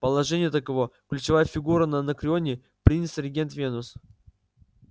положение таково ключевая фигура на анакреоне принц-регент венус